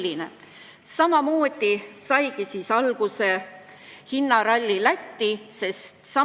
kui me tahame reaalselt, et alkoholi ja tubaka tarbimine Eesti riigis väheneks, siis on suhteliselt loogiline ja ettearvatav, et nii alkoholi- kui tubakaaktsiis aasta-aastalt kasvab.